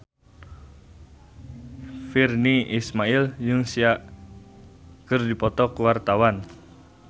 Virnie Ismail jeung Sia keur dipoto ku wartawan